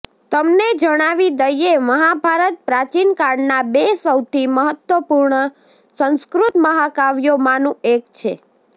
તમને જણાવી દઈએ મહાભારત પ્રાચીનકાળના બે સૌથી મહત્વપૂર્ણ સંસ્કૃત મહાકાવ્યોમાંનું એક છે